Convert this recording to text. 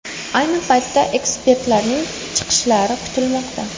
Ayni paytda ekspertlarning chiqishlari kutilmoqda.